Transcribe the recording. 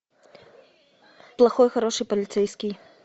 плохой хороший полицейский